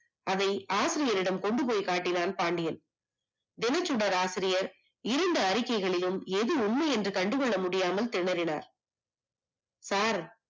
அதை ஆசிரியரிடம் கொண்டுபோய் காட்டினான் பாண்டியன், தினசுடர் ஆசிரியர் இரண்டு அறிக்கைகளையும் அது உண்மை என்று கண்டுகொள்ள முடியாமல் திணறினார். sir